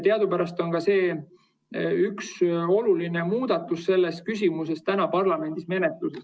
Teadupärast on üks olulisi muudatusi selles küsimuses parlamendi menetluses.